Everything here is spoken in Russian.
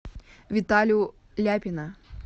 виталю ляпина